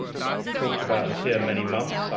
We have talked about it here for many months.